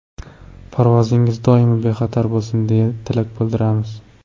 Parvozingiz doimo bexatar bo‘lsin deya tilak bildiramiz!